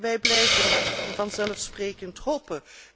Wij blijven vanzelfsprekend hopen.